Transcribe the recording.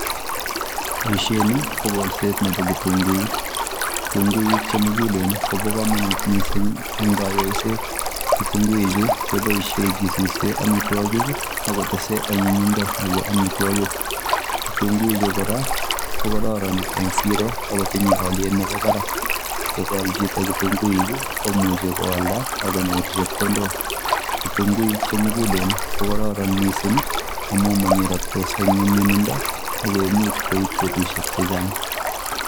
Boishoni ko kolset nebo kitung'uik, kitung'uik chemukulen kobokomonut mising en konyoiset, kitung'uichu keboishen kisuse amitwokik ak ko tesee anyinyindo nebo amitwokik, kitung'uichu kora ko kororon en siroo ak kotinye oliet nebo barak, yekol chito kitung'uik komuche koalda ak konyor chepkondok, kitung'uik ko chemukulen mising ak ko kororon ak ko monyeroktos en nyumnyumindo ak koimuch koib betushek chechang.